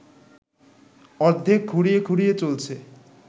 অর্ধেক খুঁড়িয়ে খুঁড়িয়ে চলছে